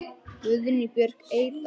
Guðný Björk Eydal.